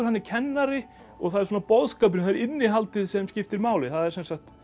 kennari og það er svona boðskapurinn það er innihaldið sem skiptir máli það er sem sagt